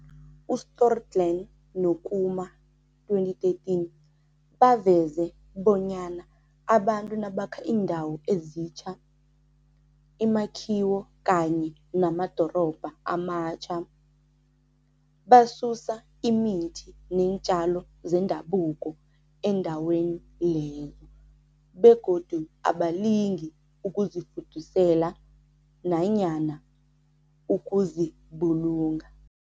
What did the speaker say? U-Stohlgren no-Kumar, 2013, baveze bonyana abantu nabakha iindawo ezitjha, imakhiwo kanye namadorobha amatjha, basusa imithi neentjalo zendabuko endaweni lezo begodu abalingi ukuzifudusela nanyana ukuzibulunga.